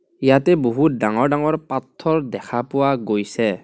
ইয়াতে বহুত ডাঙৰ ডাঙৰ পত্থৰ দেখা পোৱা গৈছে.